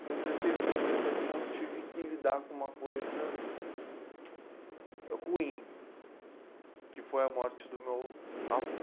Com dezesseis para dezessete anos tive que lidar com uma coisa ruim, que foi a morte do meu avô.